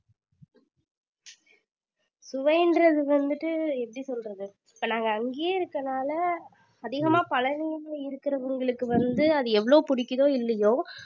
சுவைன்றது வந்துட்டு எப்படி சொல்றது இப்ப நாங்க அங்கேயே இருக்கனால அதிகமா பழனில இருக்குறவங்களுக்கு வந்து அது எவ்வளவு பிடிக்குதோ இல்லையோ